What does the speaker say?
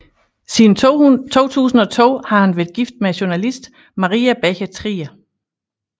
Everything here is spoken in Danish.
Siden 2002 har han været gift med journalist Maria Becher Trier